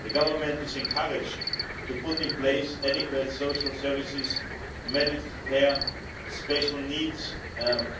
The Government is encouraged to put in place adequate social services, medical care, special needs